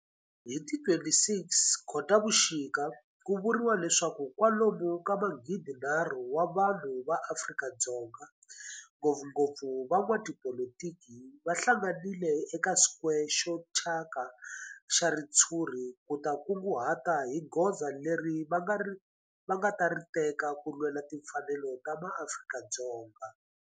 Hi ti 26 Khotavuxika ku vuriwa leswaku kwalomu ka magidinharhu wa vanhu va Afrika-Dzonga, ngopfungopfu van'watipolitiki va hlanganile eka square xo thyaka xa ritshuri ku ta kunguhata hi goza leri va nga ta ri teka ku lwela timfanelo ta maAfrika-Dzonga.